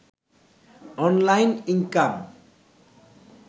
online income